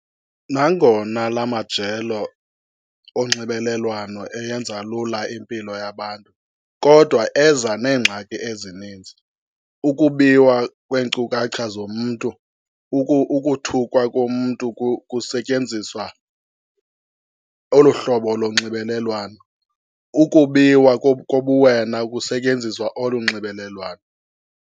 Nangona la majelo onxibelelwano eyenza lula impilo yabantu kodwa eza neengxaki ezininzi. Ukubiwa kweenkcukacha zomntu, ukuthukwa komntu kusetyenziswa olu hlobo lonxibelelwano. Ukubiwa kobuwena kusetyenziswa olu nxibelelwano.